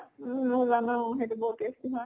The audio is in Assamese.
উম মই জানো সেইটো বহুত tasty হয়।